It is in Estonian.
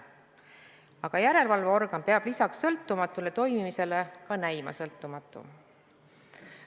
Aga järelevalveorgan peab lisaks sõltumatule toimimisele ka näima sõltumatu.